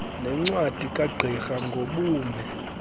nencwadi kagqirha ngobume